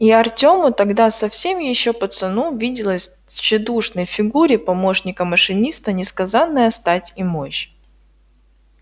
и артёму тогда совсем ещё пацану виделась в тщедушной фигуре помощника машиниста несказанная стать и мощь